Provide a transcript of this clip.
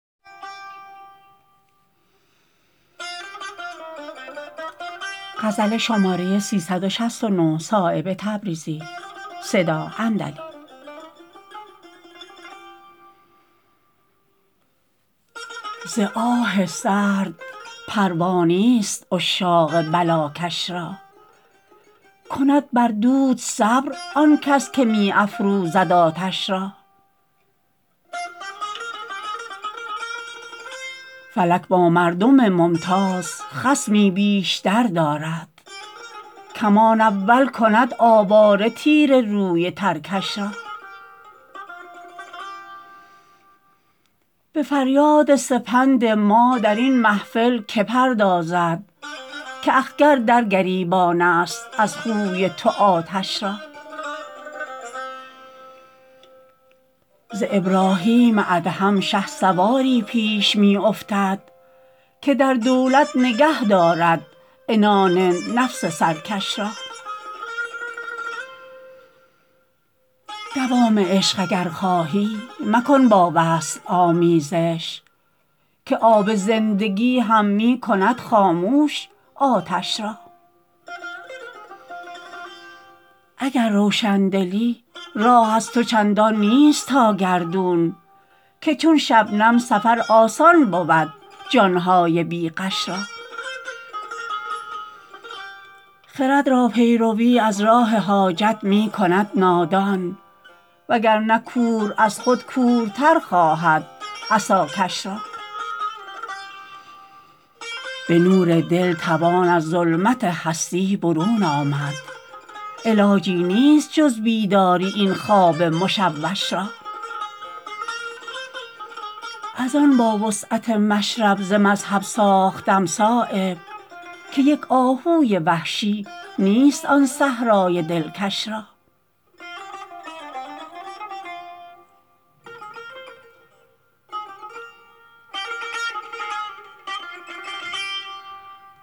ز آه سرد پروا نیست عشاق بلاکش را کند بر دود صبر آن کس که می افروزد آتش را فلک با مردم ممتاز خصمی بیشتر دارد کمان اول کند آواره تیر روی ترکش را به فریاد سپند ما درین محفل که پردازد که اخگر در گریبان است از خوی تو آتش را ز ابراهیم ادهم شهسواری پیش می افتد که در دولت نگه دارد عنان نفس سرکش را دوام عشق اگر خواهی مکن با وصل آمیزش که آب زندگی هم می کند خاموش آتش را اگر روشندلی راه از تو چندان نیست تا گردون که چون شبنم سفر آسان بود جان های بی غش را خرد را پیروی از راه حاجت می کند نادان وگرنه کور از خود کورتر خواهد عصاکش را به نور دل توان از ظلمت هستی برون آمد علاجی نیست جز بیداری این خواب مشوش را ازان با وسعت مشرب ز مذهب ساختم صایب که یک آهوی وحشی نیست آن صحرای دلکش را